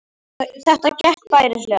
Þetta gekk bærilega